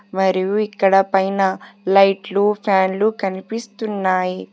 మరియు ఇక్కడ పైన లైట్లు ఫ్యాన్లు కనిపిస్తున్నాయి.